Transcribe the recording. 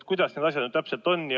Kuidas need asjad siis ikkagi täpselt on?